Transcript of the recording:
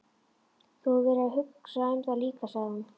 Þú hefur verið að hugsa um það líka, sagði hún.